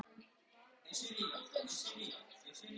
Sonurinn lenti í siglingum og á eina dóttur